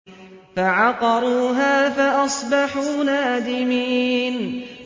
فَعَقَرُوهَا فَأَصْبَحُوا نَادِمِينَ